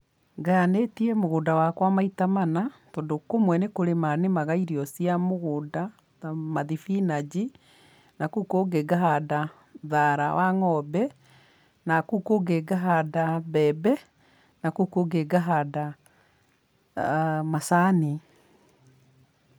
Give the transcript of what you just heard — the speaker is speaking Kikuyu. Ngayanĩtie mũgũnda wakwa maita mana, tondũ kũmwe nĩ kũrĩma nĩmaga irio cia mũgũnda ta mathibinanji, na kũu kũngĩ ngahanda thaara wa ng'ombe, na kũu kũngĩ ngahanda mbembe, na kũu kũngĩ ngahanda macani.